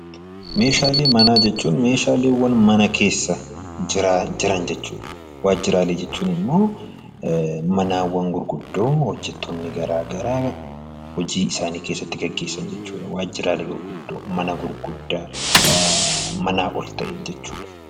Meeshaalee manaa jechuun meeshaalee mana keessa jiran jechuudha. Meeshaalee waajjiraalee jechuun immoo manneen gurguddoo hojjattoonni garaagaraa hojii isaanii keessatti gaggeeffatan jechuudha. Waajjiraalee gurguddaa mana gurguddaa manaa ol ka'e jechuudha.